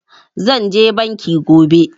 Zan je banki gobe